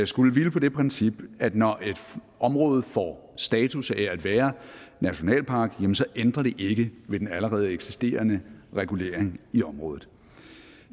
skulle hvile på det princip at når et område får status af at være nationalpark ændrer det ikke ved den allerede eksisterende regulering i området